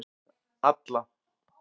Alla